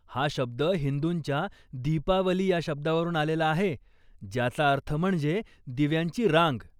हा शब्द हिंदूंच्या दीपावली ह्या शब्दावरून आलेला आहे ज्याचा अर्थ म्हणजे दिव्यांची रांग.